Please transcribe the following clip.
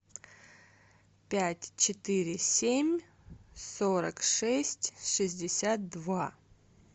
пять четыре семь сорок шесть шестьдесят два